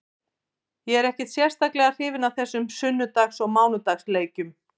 Ég er ekkert sérstaklega hrifinn af þessum sunnudags og mánudags leikjum.